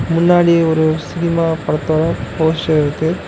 முன்னாடி ஒரு சினிமா படத்தோட போஸ்டர் இருக்கு.